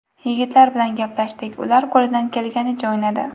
Yigitlar bilan gaplashdik, ular qo‘lidan kelganicha o‘ynadi.